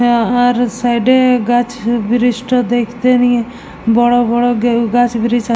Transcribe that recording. আহ উহার সাইড -এ গাছ ব্রীজ -টা দেখতে নিয়ে বড় বড় গাছ ব্রীজ --